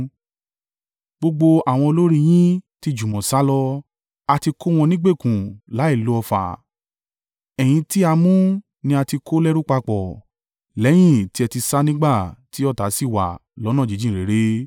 Gbogbo àwọn olórí i yín ti jùmọ̀ sálọ; a ti kó wọn nígbèkùn láìlo ọfà. Ẹ̀yin tí a mú ni a ti kó lẹ́rú papọ̀, lẹ́yìn tí ẹ ti sá nígbà tí ọ̀tá ṣì wà lọ́nà jíjìn réré.